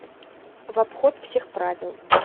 в обход всех правил